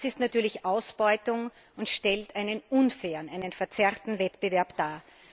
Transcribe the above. Das ist natürlich Ausbeutung und stellt einen unfairen, einen verzerrten Wettbewerb dar.